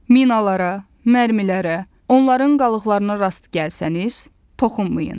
Minalara, mərmilərə, onların qalıqlarına rast gəlsəniz, toxunmayın.